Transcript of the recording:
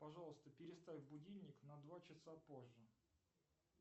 пожалуйста переставь будильник на два часа позже